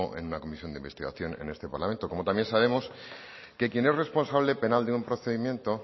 en la comisión de investigación en este parlamento como también sabemos que quien es responsable penal de un procedimiento